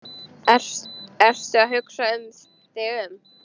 Ertu að hugsa þig um?